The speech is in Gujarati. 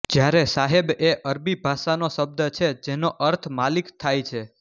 જ્યારે સાહેબ એ અરબી ભાષાનો શબ્દ છે જેનો અર્થ માલિક થાય છે